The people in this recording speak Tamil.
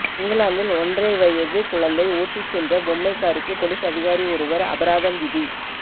இங்கிலாந்தில் ஒன்றரை வயது குழந்தை ஓட்டிச் சென்ற பொம்மைக் காருக்கு பொலிஸ் அதிகாரி ஒருவர் அபராதம் விதி